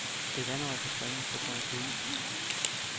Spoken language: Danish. Et vandrør kan springe på grund af kulden.